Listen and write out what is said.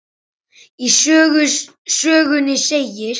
Í sögunni segir: